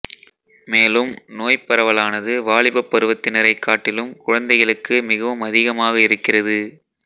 மேலும் நோய்ப் பரவலானது வாலிபப் பருவத்தினரைக் காட்டிலும் குழந்தைகளுக்கு மிகவும் அதிகமாக இருக்கிறது